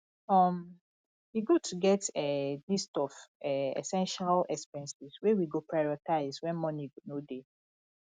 um e good to get um list of um essential expenses wey we go prioritize wen money no dey